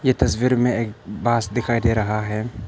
तस्वीर में एक बास दिखाई दे रहा है।